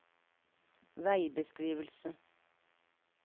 veibeskrivelse